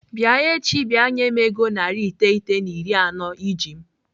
Bịa echi bịa nye m ego narị iteghete na iri anọ iji m!